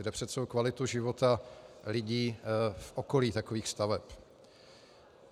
Jde přece o kvalitu života lidí v okolí takových staveb.